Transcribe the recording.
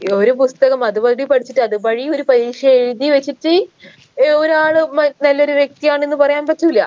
ഒരു പുസ്തകം അത് പടി പഠിച്ചിട്ട് അത് പടി ഒരു പരീക്ഷ എഴുതി വച്ചിട്ട് ഏർ ഒരാള് മ നല്ലൊരു വ്യക്തിയാണെന്ന് പറയാൻ പറ്റൂല